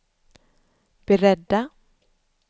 beredda